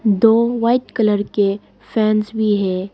दो white colour के fans भी हैं।